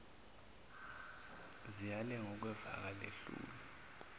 ziyalenga okwevaka lehlulwe